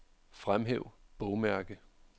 Fremhæv bogmærke.